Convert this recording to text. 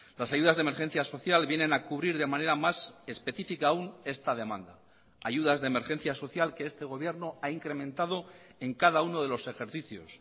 las ayudas de emergencia social vienen a cubrir de manera más específica aún esta demanda ayudas de emergencia social que este gobierno ha incrementado en cada uno de los ejercicios